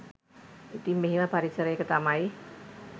ඉතින් මෙහෙම පරිසරයක තමයි